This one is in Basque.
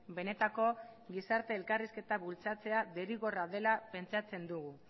benetako gizarte elkarrizketa bultzatzea derrigorra dela pentsatzen dugu